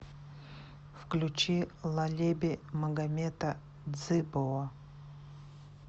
включи лалеби магамета дзыбова